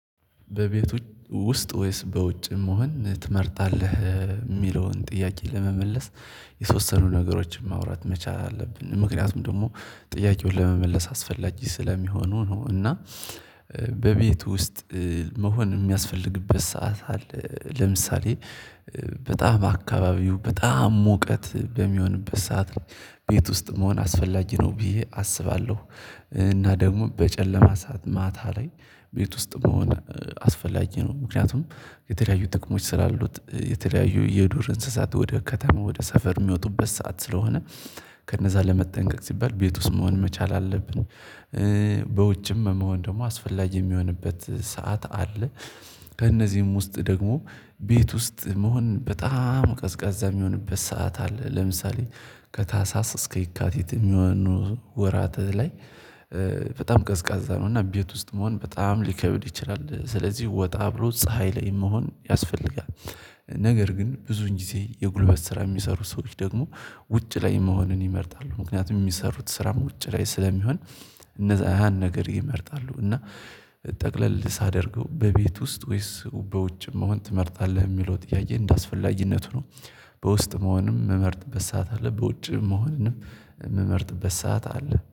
በቤቱ ውስጥ ወይስ በውጭ መሆን ትመርጣለህ? የሚለውን ጥያቄ ለመመለስ የተወሰኑ ነገሮችን ማውራት መቻል አለብን ምክንያቱም ደግሞ ጥያቄውን ለመመለስ አስፈላጊ ስለሚሆኑ ነው እና በቤቱ ውስጥ መሆን የሚያስፈልግበት ሰዓት አለ ለምሳሌ በጣም አካባቢው በጣም ሙቀት በሚሆንበት ሰዓት ላይ ቤት ውስጥ መሆን አስፈላጊ ነው ብዬ አስባለሁ እና ደግሞ በጨለማ ሰዓት ማታ ላይ ቤት ውስጥ መሆን አስፈላጊ ነው ምክንያቱም የተለያዩ ጥቅሞች ስላሉት የተለያዩ የዱር እንስሳት ወደ ከተማ ወደ ሰፈር የሚወጡበት ሰዓት ስለሆነ ከነዛ ለመጠንቀቅ ሲባል ቤት ውስጥ መሆን መቻል አለብን፣ በውጭም መሆን ደግሞ አስፈላጊ የሚሆንበት ሰዓት አለ ከእነዚህም ውስጥ ደግሞ ቤት ውስጥ መሆን በጣም ቀዝቃዛ የሚሆንበት ሰዓት አለ ለምሳሌ ከታህሳስ እስከ የካቲት የሚሆን ወራት ላይ በጣም ቀዝቃዛ ነው እና ቤት ውስጥ መሆን በጣም ሊከብድ ይችላል ስለዚህ ወጣ ብሎ ፀሀይ ላይ መሆን ያስፈልጋል ነገር ግን ብዙን ጊዜ የጉልበት ስራ የሚሰሩ ሰዎች ደግሞ ውጭ ላይ መሆንን ይመርጣሉ ምክንያቱም የሚሰሩት ስራም ውጭ ላይ ስለሚሆን እነዛ ያንን ነገር ይመርጣሉ እና ጠቅለል ሳደርገው በቤት ውስጥ ወይስ በውጭም መሆን ትመርጣለህ የሚለው ጥያዬ እንዳስፈላጊነቱ ነው በውስጥ መሆንም የምመርጥበት ሰዓት አለ በውጭም መሆንም የምመርጥበት ሰዓት አለ።